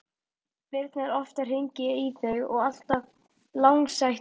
Birna er oft að hringja í þig og alltaf langsætust!